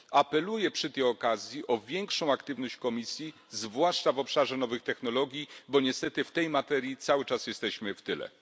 Apeluję przy tej okazji o większą aktywność Komisji, zwłaszcza w obszarze nowych technologii, bo niestety w tej materii cały czas jesteśmy w tyle